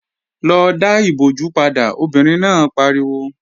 Lọ dá ìbojú padà, obìnrin náà pariwo!